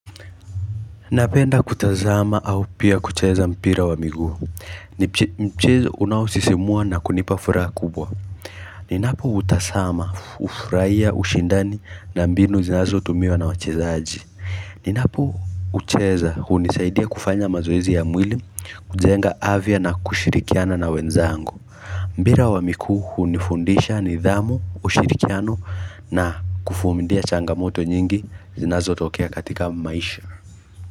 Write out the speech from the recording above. Napenda kutazama au pia kucheza mpira wa miguu ni mchezo unaosisimua na kunipa furaha kubwa Ninapo utasama, ufurahia, ushindani na mbinu zinazo tumiwa na wachezaji Ninapo ucheza hunisaidia kufanya mazoezi ya mwili kujenga afya na kushirikiana na wenzangu Mbira wa mikuu unifundisha ni dhamu, ushirikiano na kufumindia changamoto nyingi zinazo tokea katika maisha.